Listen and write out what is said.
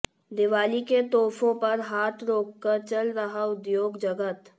दीवाली के तोहफों पर हाथ रोककर चल रहा उद्योग जगत